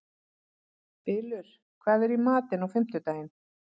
Bylur, hvað er í matinn á fimmtudaginn?